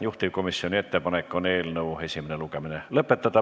Juhtivkomisjoni ettepanek on eelnõu esimene lugemine lõpetada.